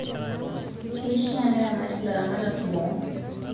Keishaa neramat ilaramatak boo